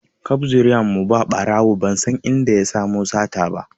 Kaf zuriyan mu ba ɓarawo ban san inda ya samo sata ba